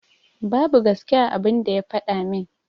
Babu gaske a abun da ya faɗa min.